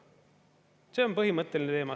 See on põhimõtteline teema.